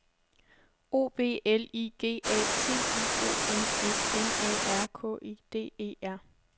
O B L I G A T I O N S M A R K E D E R